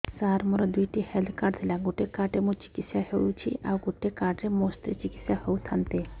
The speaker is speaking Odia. ସାର ମୋର ଦୁଇଟି ହେଲ୍ଥ କାର୍ଡ ଥିଲା ଗୋଟେ କାର୍ଡ ରେ ମୁଁ ଚିକିତ୍ସା ହେଉଛି ଆଉ ଗୋଟେ କାର୍ଡ ରେ ମୋ ସ୍ତ୍ରୀ ଚିକିତ୍ସା ହୋଇଥାନ୍ତେ